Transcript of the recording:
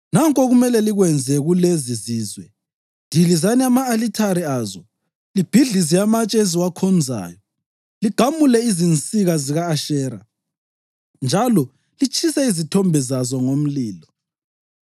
Nanku okumele likwenze kulezi zizwe: Dilizani ama-alithare azo, libhidlize amatshe eziwakhonzayo, ligamule izinsika zika-Ashera njalo litshise izithombe zazo ngomlilo.